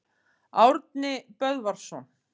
Árni Böðvarsson.